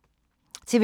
TV 2